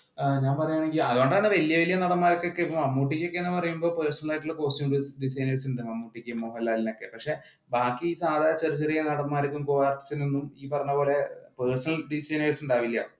ആഹ് ഞാന്‍ പറയുകയാണെങ്കിൽ വലിയ വലിയ നടന്മാർക്കൊക്കെ മമ്മൂട്ടിക്ക് ഒക്കെയാണെങ്കിൽ personal ആയിട്ടുള്ള costume designers ഉണ്ടാവും. മോഹന്‍ലാലിനൊക്കെ പക്ഷേ, ബാക്കി സാദാ ചെറിയ ചെറിയ നടന്മാർക്കൊന്നും, co-artist ഇനൊന്നും ഈ പറഞ്ഞ പോലെ personal designers ഉണ്ടാവില്ല.